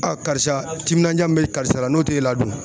karisa timinanjaa min bɛ karisa la n'o t'e la dun?